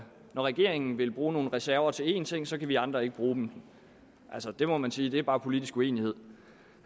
når regeringen vil bruge nogle reserver til en ting så kan vi andre ikke bruge dem altså det er må man sige bare politisk uenighed